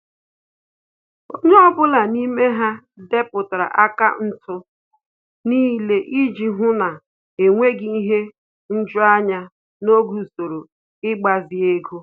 Onye ọbụla n'ime ha depụtara akaụntụ niile iji hụ na-enweghị ihe nju anya n'oge usoro ịgbazi ego